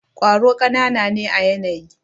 kwaro kanana ne à yanayi.